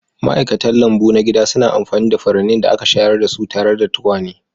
Ma'aikatan lambu na gida suna amfani da furannin da aka shayar da su tare da tukwane.